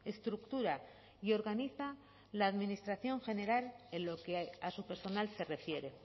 estructura y organiza la administración general en lo que a su personal se refiere